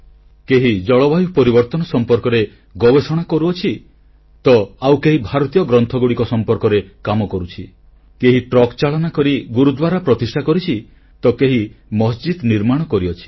କେହି ଜଳବାୟୁ ପରିବର୍ତ୍ତନ ସମ୍ପର୍କିତ ଗବେଷଣା କରୁଛନ୍ତି ତ ଆଉ କେହି ଭାରତୀୟ ଗ୍ରନ୍ଥଗୁଡ଼ିକ ଉପରେ କାମ କରୁଛନ୍ତି କେହି ଟ୍ରକ ଚାଳନା କରି ଗୁରୁଦ୍ୱାର ପ୍ରତିଷ୍ଠା କରିଛି ତ କେହି ମସଜିଦ୍ ନିର୍ମାଣ କରିଛି